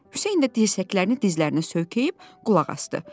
Hüseyn də dirsəklərini dizlərinə söykəyib qulaq asdı.